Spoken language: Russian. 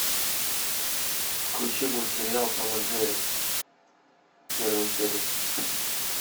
включи мультсериал том и джерри первую серию